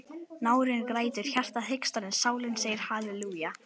Nárinn grætur, hjartað hikstar en sálin segir halelúja.